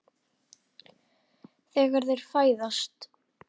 Þegar þeir fæðast